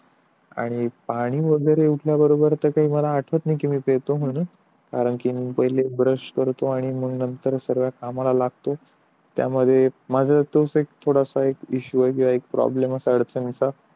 आणि पाणी वैगेरे उठल्या बरोबर मला नाही आठवत कि मी पितो म्हंणून कारण कि पाहिले ब्रश करतोय आणि मग सर्व कमला लागतो त्यामध्ये माझा तोच एक इशू आहे किंवा प्रॉब्लेम आहे अडचणींचा